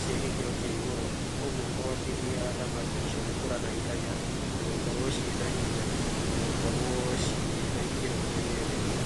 cia gĩkĩro kĩa igũrũ ũguo kũhotithia thamaki icio gũkũra na ihenya na gũkorwo cĩ na hinya na gũkorwo cĩ na ikĩro irĩa cirendekana.